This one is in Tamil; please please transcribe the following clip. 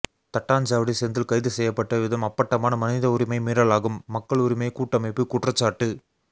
தட்டாஞ்சாவடி செந்தில் கைது செய்யப்பட்ட விதம் அப்பட்டமான மனித உரிமை மீறலாகும் மக்கள் உரிமை கூட்டமைப்பு குற்றச்சாட்டு